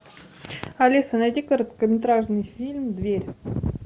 алиса найди короткометражный фильм дверь